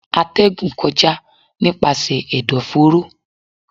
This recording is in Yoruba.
Atẹgún kọja nipasẹ ẹdọforo